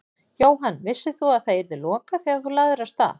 Jóhann: Vissir þú að það yrði lokað þegar þú lagðir af stað?